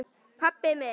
Pabbi minn?